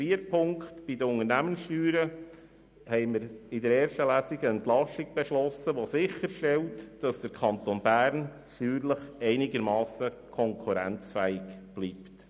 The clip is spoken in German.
Viertens beschlossen wir bei den Unternehmenssteuern in der ersten Lesung eine Entlastung, die sicherstellt, dass der Kanton Bern steuerlich einigermassen konkurrenzfähig bleibt.